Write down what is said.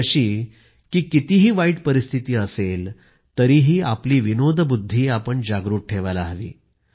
ती अशी की कितीही वाईट परिस्थिती असेल तरीही आपली विनोदबुद्धी जागृत ठेवायला हवी